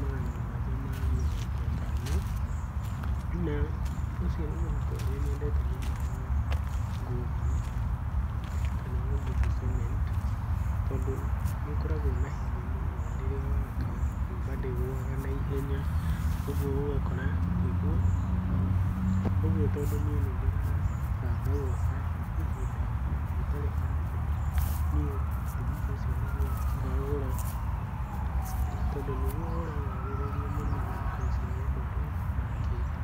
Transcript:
magana mũgwaja ma mĩrongo ĩtano, na ũcio nĩ mũhuko ũrĩanyendete mũno wa nguvu kana wa nguvu cement tondũ nĩũkoragwo na hinya mũno tondũ rĩrĩa waka nyũmba ndĩgũaga na ihenya ũguo ũgakora nĩguo, ũguo tondũ niĩ nĩndĩrabanga gwaka ihinda rĩtarĩ hanene, niĩ thimiti ũcio nĩguo ngagũra tondũ nĩguo ũragathĩrĩrio mũno thikũ ici nĩ andũ arĩa makĩte.